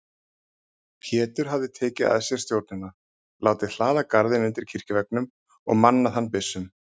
Pétur hafði tekið að sér stjórnina: látið hlaða garðinn undir kirkjuveggnum og mannað hann byssum.